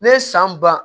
Ne ye san ban